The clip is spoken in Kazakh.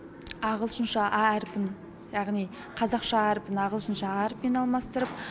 ағылшынша а әрпін яғни қазақша а әріпін ағылшынша а әрпімен алмастырып